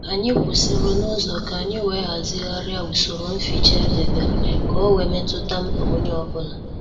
Anyị kwụsịrị n'uzo ka anyị wee hazigharia usoro mficha edebere ka ọ wee metuta mkpa onye ọ bụla